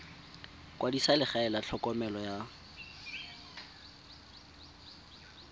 kwadisa legae la tlhokomelo ya